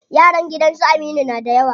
Yaran gidan su Aminu na da yawa.